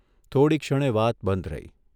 થોકડી ક્ષણે વાત બંધ રહી.